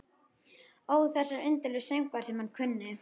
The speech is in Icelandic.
Ó þessir indælu söngvar sem hann kunni.